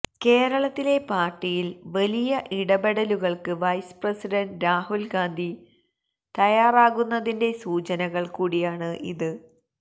കേരളത്തിലെ പാര്ട്ടിയില് വലിയ ഇടപെടലുകള്ക്ക് വൈസ്പ്രസിഡന്റ് രാഹുല് ഗാന്ധി തയ്യാറാകുന്നതിന്റെ സൂചനകള് കൂടിയാണ് ഇത്